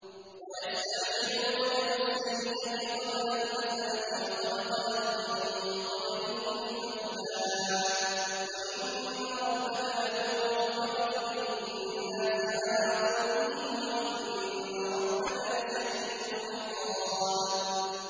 وَيَسْتَعْجِلُونَكَ بِالسَّيِّئَةِ قَبْلَ الْحَسَنَةِ وَقَدْ خَلَتْ مِن قَبْلِهِمُ الْمَثُلَاتُ ۗ وَإِنَّ رَبَّكَ لَذُو مَغْفِرَةٍ لِّلنَّاسِ عَلَىٰ ظُلْمِهِمْ ۖ وَإِنَّ رَبَّكَ لَشَدِيدُ الْعِقَابِ